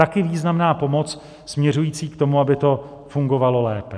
Taky významná pomoc směřující k tomu, aby to fungovalo lépe.